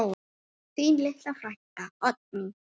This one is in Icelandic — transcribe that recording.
Þín litla frænka, Oddný.